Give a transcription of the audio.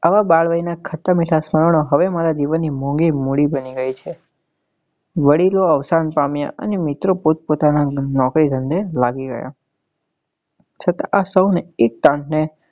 આવા બાળવય નાં ખાટ્ટા મીઠા સુવર્ણ હવે મારા મારા જીવન ના મોંઘી મોલી બની ગઈ છે વડીલો અવસાન પામ્યા અને મિત્રો પોત પોતાના નોકરી ધંધે લાગી ગયા છતાં આપ સૌ ને